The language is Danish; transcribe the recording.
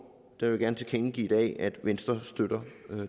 vil jeg gerne tilkendegive at venstre støtter